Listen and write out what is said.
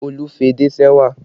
Olu fi edé se ẹwà